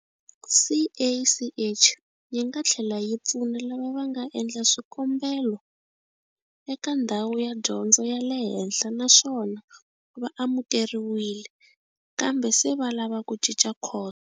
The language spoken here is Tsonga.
CACH yi nga tlhela yi pfuna lava nga endla swikombelo eka ndhawu ya dyondzo ya le henhla naswona va amukeriwile, kambe se va lava ku cinca khoso.